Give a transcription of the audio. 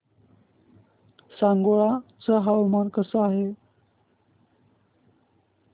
सांगोळा चं हवामान कसं आहे